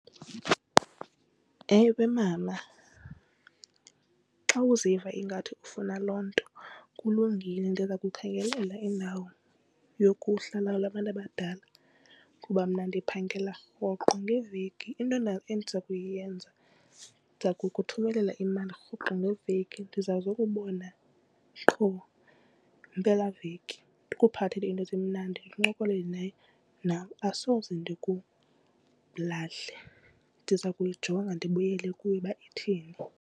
Ewe, mama xa uziva ingathi ufuna loo nto kulungile ndiza kukhangelela indawo yokuhlala abantu abadala kuba mna ndiphangela rhoqo ngeveki. Into endiza kuyenza ndiza kukuthumela imali rhoqo ngeveki ndiza zokubona qho ngempela veki, ndikuphathele iinto ezimnandi ndincokole nawe asoze ndikulahle. Ndiza kuyijonga ndibuyele kuwe uba ithini.